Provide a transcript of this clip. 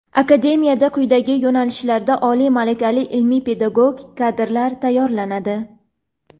Akademiyada quyidagi yo‘nalishlarda oliy malakali ilmiy-pedagogik kadrlar tayyorlanadi:.